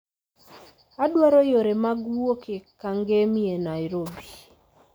Adwaro yore mag wuok e kangemi e nairobi